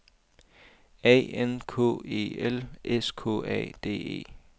A N K E L S K A D E